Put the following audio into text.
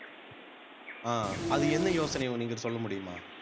அஹ் அது என்ன யோசனை நீங்க சொல்ல முடியுமா